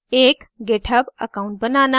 * एक github account बनाना